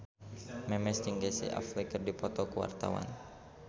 Memes jeung Casey Affleck keur dipoto ku wartawan